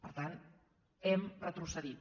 per tant hem retrocedit